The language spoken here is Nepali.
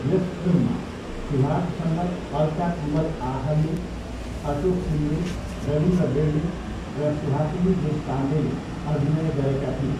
यस फिल्ममा सुभाषसँग अल्का कुबल आठल्ये, अशोक सिन्दे, रविन्द्र बेर्डे र सुहासिनी देशपाण्डेले अभिनय गरेका थिए।